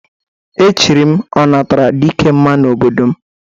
E chiri m Ọnataradikemma n'obodo m.